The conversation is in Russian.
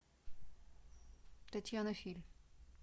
татьяна филь